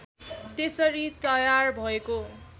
त्यसरी तयार भएको